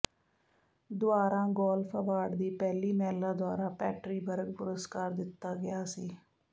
ਦੁਆਰਾ golf award ਦੀ ਪਹਿਲੀ ਮਹਿਲਾ ਦੁਆਰਾ ਪੈਟਰੀ ਬਰਗ ਪੁਰਸਕਾਰ ਦਿੱਤਾ ਗਿਆ ਸੀ